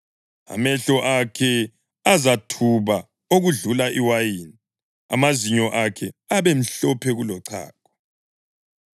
Amehlo akhe azathuba okudlula iwayini, amazinyo akhe abe mhlophe kulochago.